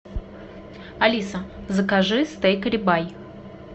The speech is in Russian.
алиса закажи стейк ребай